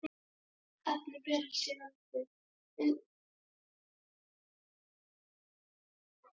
Þessi efni berast síðan undan vindi og falla aftur niður.